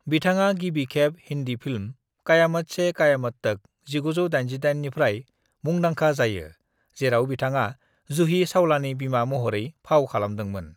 "बिथाङा गिबि खेब हिंदी फिल्म क़यामत से क़यामत तक (1988) निफ्राय मुंदांखा जायो, जेराव बिथाङा जूही चावलानि बिमा महरै फाव खालामदोंमोन।"